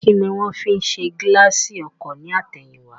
Kíni wón fi ṣe gíláàsì ọkọ̀ ní àtẹ̀yìn wá